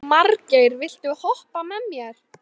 Margeir, viltu hoppa með mér?